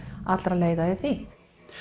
allra leiða í því